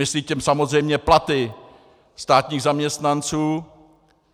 Myslí tím samozřejmě platy státních zaměstnanců.